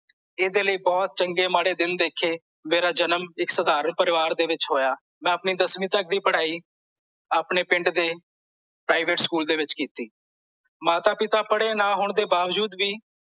ਇਹਦੇ ਲਈ ਬਹੁਤ ਚੰਗੇ ਮਾੜੇ ਦਿਨ ਦੇਖੇ ਮੇਰਾ ਜਨਮ ਇੱਕ ਸਧਾਰਨ ਪਰਿਵਾਰ ਵਿੱਚ ਹੋਇਆ ਮੈਂ ਆਪਣੀ ਦੱਸਵੀ ਤਕ ਦੀ ਪੜ੍ਹਾਈ ਆਪਣੇ ਪਿੰਡ ਦੇ private ਸਕੂਲ ਦੇ ਵਿੱਚ ਕੀਤੀ ਮਾਤਾ ਪਿਤਾ ਪੜ੍ਹੇ ਨਾਂ ਹੋਣ ਦੇ ਬਾਵਜੂਦ ਵੀ